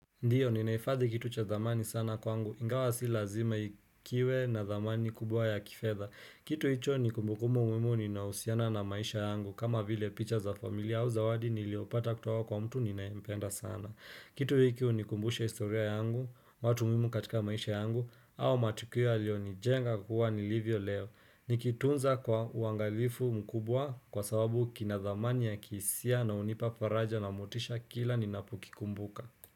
Ndiyo, ninahifadhi kitu cha dhamani sana kwangu, ingawa si lazima kiwe na dhamani kubwa ya kifedha. Kitu hicho ni kumbukumu muhimu ninahusiana na maisha yangu, kama vile picha za familia au zawadi niliopata kutoka kwa mtu ninayempenda sana. Kitu hiki hunikumbusha historia yangu, watu muhimu katika maisha yangu, au matukia yaliyonijenga kuwa nilivyo leo. Nikitunza kwa uangalifu mkubwa kwa sababu kina dhamani ya kihisia na hunipa faraja na motisha kila ninapukikumbuka.